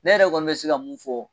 Ne yɛrɛ kɔni bɛ se ka mun fɔ.